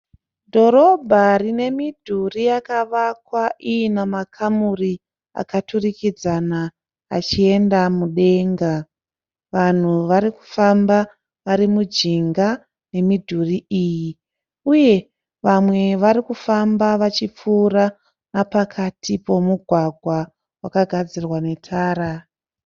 Dhorabha rine midhuri yakavakwa iina makamuri akaturikidzana achienda mudenga. Vanhu vari kufamba vari mujinga yemudhuri iyi. Uye vamwe vari kufamba vachipfuura nepakati pemugwagwa wakagadzirwa netara.